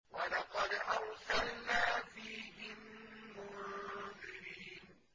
وَلَقَدْ أَرْسَلْنَا فِيهِم مُّنذِرِينَ